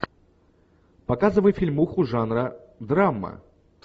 показывай фильмуху жанра драма